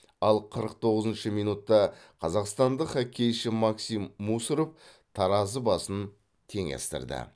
ал қырық тоғызыншы минутта қазақстандық хоккейші максим мусоров таразы басын теңестірді